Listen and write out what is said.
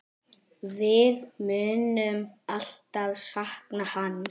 Við munum alltaf sakna hans.